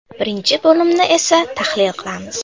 Birinchi bo‘limni esa tahlil qilamiz.